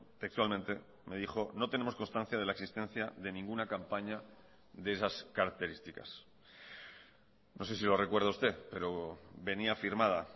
textualmente me dijo no tenemos constancia de la existencia de ninguna campaña de esas características no sé si lo recuerda usted pero venía firmada